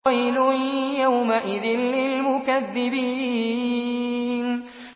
وَيْلٌ يَوْمَئِذٍ لِّلْمُكَذِّبِينَ